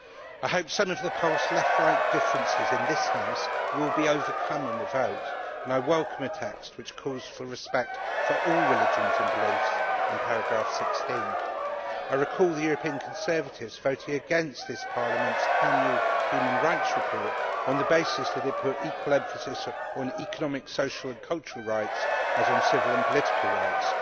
I hope some of the past left right differences in this House will be overcome in the vote and I welcome a text which calls for respect for all religions and beliefs in paragraph16. I recall the European Conservatives voting against this Parliament's Annual Human Rights Report on the basis that they put equal emphasis on economic, social and cultural rights as on civil and political rights.